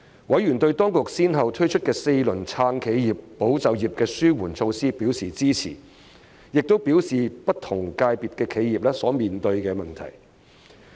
委員對當局先後推出的4輪"撐企業"、"保就業"的紓困措施表示支持，並表達不同界別的企業所面對的問題。